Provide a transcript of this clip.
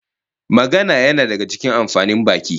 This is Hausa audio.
Magana yana daga cikin amfanin baki